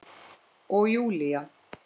Og Júlía